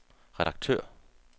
redaktør